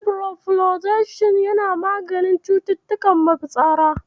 Ciprofloxacin yana maganin cututtukan mafitsara.